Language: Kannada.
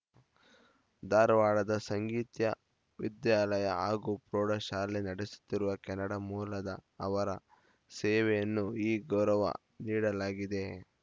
ಧಾರವಾಡದ ಸಂಗೀತ್ಯ ವಿದ್ಯಾಲಯ ಹಾಗೂ ಪ್ರೌಢಶಾಲೆ ನಡೆಸುತ್ತಿರುವ ಕೆನಡಾ ಮೂಲದ ಅವರ ಸೇವೆಯನ್ನು ಈ ಗೌರವ ನೀಡಲಾಗಿದೆ